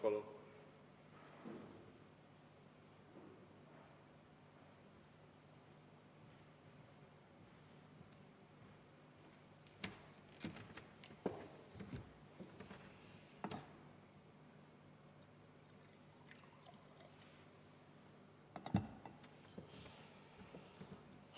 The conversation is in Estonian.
Palun!